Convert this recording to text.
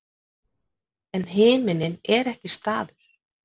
en himinninn er ekki staður